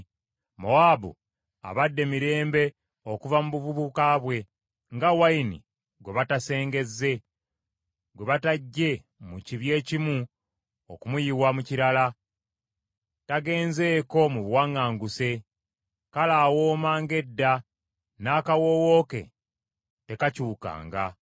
“Mowaabu abadde mirembe okuva mu buvubuka bwe, nga wayini gwe batasengezze, gwe bataggye mu kibya ekimu okumuyiwa mu kirala, tagenzeko mu buwaŋŋanguse. Kale awooma ng’edda, n’akawoowo ke tekakyukanga.